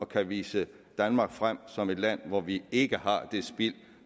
kan vise danmark frem som et land hvor vi ikke har det spild